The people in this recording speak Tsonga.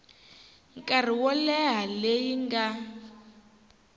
nkarhi wo leha leyi nga